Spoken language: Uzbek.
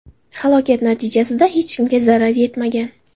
Halokat natijasida hech kimga zarar yetmagan.